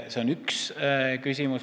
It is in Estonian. See on üks küsimus.